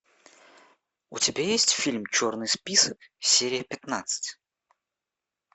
у тебя есть фильм черный список серия пятнадцать